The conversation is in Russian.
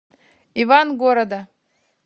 ивангорода